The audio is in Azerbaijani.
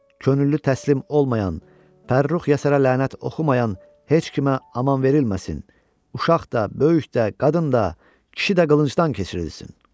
Könüllü təslim olmayan, Pərrux Yəsərə lənət oxumayan heç kimə aman verilməsin, uşaq da, böyük də, qadın da, kişi də qılıncdan keçirilsin.